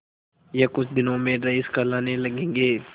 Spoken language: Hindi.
यह कुछ दिनों में रईस कहलाने लगेंगे